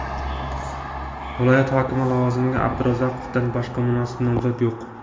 Viloyat hokimi lavozimga Abdurazzoqovdan boshqa munosib nomzod yo‘q”.